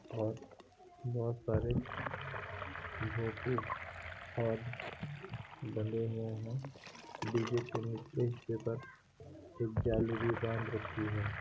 और बहोत सारे भोपू और बंधे हुये हैं | डीजे के निचले हिस्से पर एक जाली भी बांध रखी है।